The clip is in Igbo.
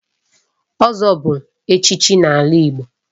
Ozo bu echichi n'ala Igbo